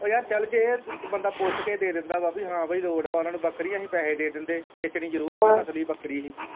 ਓ ਯਾਰ ਚੱਲਜੇ ਬੰਦਾ ਪੁੱਛ ਕੇ ਦਿੰਦਾ ਵਾ ਹਾਂ ਵਈ ਲੋੜ ਵਾ ਓਨਾਂ ਨੂੰ ਬੱਕਰੀ ਅਸੀਂ ਪੈਹੇ ਦੇ ਦਿੰਦੇ ਵੇਚਣੀ ਜਰੂਰ ਸੀ ਨਸਲੀ ਬੱਕਰੀ ਹੀ।